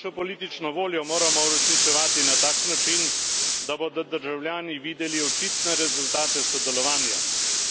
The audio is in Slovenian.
Našo politično voljo moramo uresničevati na tak način, da bodo državljani videli očitne rezultate sodelovanja.